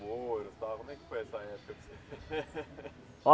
foi e tal. Como é que foi essa época para você?